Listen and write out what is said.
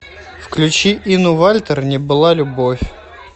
включи инну вальтер не была любовь